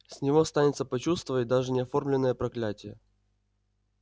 с него станется почувствовать даже неоформленное проклятие